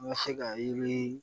N ka se ka yiri